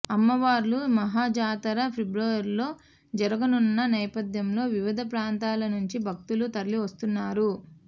అమ్మవార్ల మహాజాతర ఫిబ్రవరిలో జరగనున్న నేపథ్యంలో వివిధ ప్రాంతాల నుంచి భక్తులు తరలివస్తున్నారు